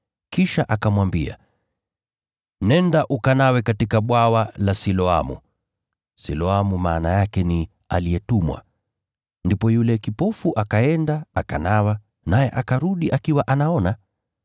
Kisha akamwambia, “Nenda ukanawe katika bwawa la Siloamu.” (Siloamu maana yake ni aliyetumwa.) Ndipo yule kipofu akaenda, akanawa, naye akarudi akiwa anaona.